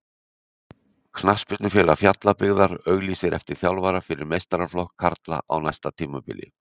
Knattspyrnufélag Fjallabyggðar auglýsir eftir þjálfara fyrir meistaraflokk karla á næsta tímabili.